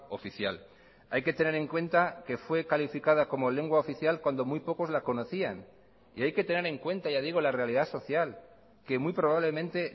oficial hay que tener en cuenta que fue calificada como lengua oficial cuando muy pocos la conocían y hay que tener en cuenta ya digo la realidad social que muy probablemente